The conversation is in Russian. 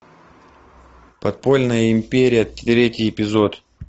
подпольная империя третий эпизод